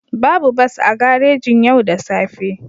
Babu bas a garejin yau da safe